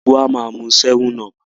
gbogbo wá má mú 7up.